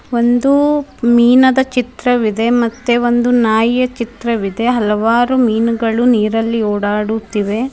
ಒಂದು ಮೀನದ ಚಿತ್ರವಿದೆ ಮತ್ತೆ ಒಂದು ನಾಯಿಯ ಚಿತ್ರವಿದೆ ಹಲವಾರು ಮೀನುಗಳು ನೀರಲ್ಲಿ ಓಡಾಡುತ್ತಿವೆ.